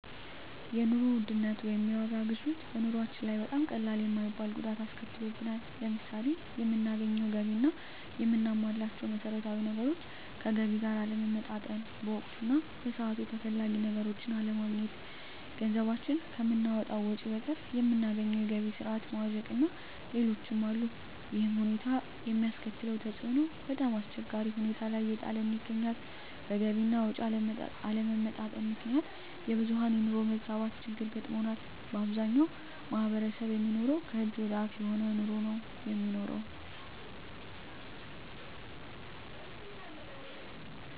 የኑሮ ውድነት ወይም የዋጋ ግሽበት በኑሮአችን ላይ በጣም ቀላል የማይባል ጉዳት አስከትሎብናል። ለምሳሌ የምናገኘው ገቢ እና የምናሟላቸው መሠረታዊ ነገሮች ከገቢ ጋር አለመመጣጠን፣ በወቅቱ እና በሰዓቱ ተፈላጊ ነገሮችን አለማግኘት፣ ገንዘባችን ከምናወጣው ወጭ በቀር የምናገኘው የገቢ ስረዓት መዋዠቅእና ሌሎችም አሉ። ይሕም ሁኔታ የሚያስከትለው ተፅዕኖ በጣምአስቸጋሪ ሁኔታ ላይ እየጣለን ይገኛል። በገቢ አና ወጭ አለመመጣጠን ምክንያት የብዙሀን የኑሮ መዛባት ችግር ገጥሞናል። በአብዛኛው ማሕበረሰብ የሚኖረው ከእጅ ወደ አፍ የሆነ ኑሮ ነው የሚኖረው።